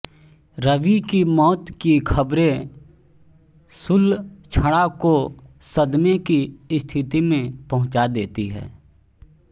रवि की मौत की खबरे सुलक्षणा को सदमे की स्थिति में पहुँचा देती है